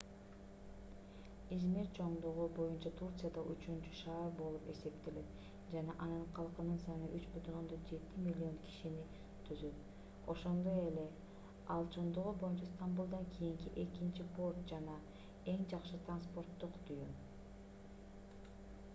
измир чоңдугу боюнча турцияда үчүнчү шаар болуп эсептелет жана анын калкынын саны 3,7 миллион кишини түзөт ошондой эле ал чоңдугу боюнча стамбулдан кийинки экинчи порт жана эң жакшы транспорттук түйүн